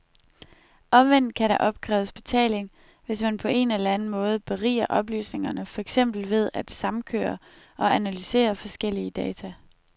Omvendt kan der opkræves betaling, hvis man på en eller anden måde beriger oplysningerne for eksempel ved at samkøre og analysere forskellige data.